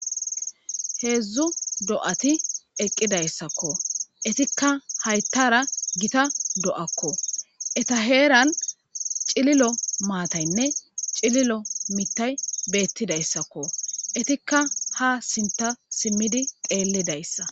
heedzdzu do'ti eqqidayssakko etikka hayttara gita do'kko etaheeran cililo maataynne cililo mitay beettidayssakko etikka ha sinta simmidi qeellidayssa.